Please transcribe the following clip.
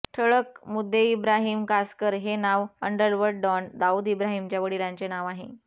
ठळक मुद्देइब्राहिम कासकर हे नाव अंडरवर्ल्ड डॉन दाऊद इब्राहिमच्या वडीलांचे नाव आहे